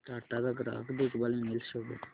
टाटा चा ग्राहक देखभाल ईमेल शो कर